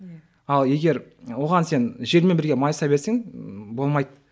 иә ал егер оған сен желмен бірге майыса берсең болмайды